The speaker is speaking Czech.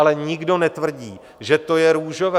Ale nikdo netvrdí, že to je růžové.